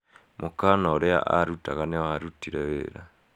Mũkana ũria arutaga nĩ wa rutire wira.